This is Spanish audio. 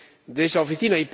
de esa Oficina.